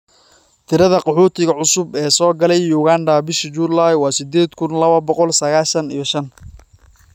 Tirada qaxootiga cusub ee soo galay Uganda bishii July waa siddeed kuun lawo boqol sagashaan iyo shaan